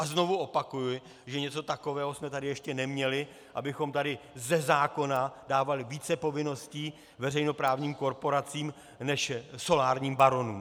A znovu opakuji, že něco takového jsme tady ještě neměli, abychom tady ze zákona dávali více povinností veřejnoprávním korporacím než solárním baronům.